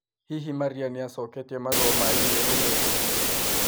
Hihi Maria nĩ achoketie marũa ma i-mīrū merũ